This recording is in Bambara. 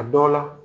A dɔw la